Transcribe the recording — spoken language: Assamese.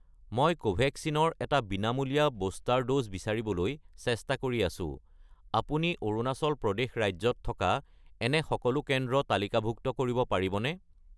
মই কোভেক্সিন ৰ এটা বিনামূলীয়া বুষ্টাৰ ড'জ বিচাৰিবলৈ চেষ্টা কৰি আছোঁ, আপুনি অৰুণাচল প্ৰদেশ ৰাজ্যত থকা এনে সকলো কেন্দ্ৰ তালিকাভুক্ত কৰিব পাৰিবনে?